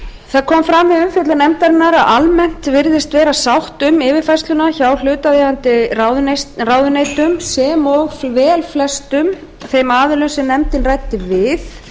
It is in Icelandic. það kom fram við umfjöllun nefndarinnar að almennt virðist vera sátt um yfirfærsluna hjá hlutaðeigandi ráðuneytum sem og velflestum þeim aðilum sem nefndin ræddi við